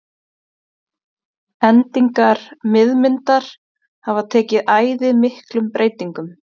Endingar miðmyndar hafa tekið æði miklum breytingum.